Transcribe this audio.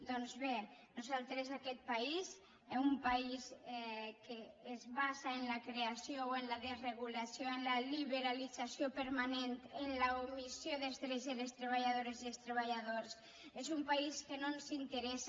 doncs bé a nosaltres aquest país un país que es basa en la creació o en la desregulació en la liberalització permanent en l’omissió dels drets de les treballadores i dels treballadors és un país que no ens interessa